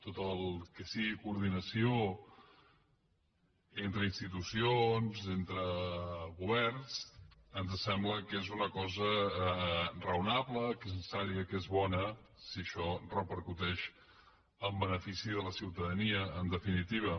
tot el que sigui coordinació entre institucions entre governs ens sembla que és una cosa raonable que és necessària que és bona si això repercuteix en benefici de la ciutadania en definitiva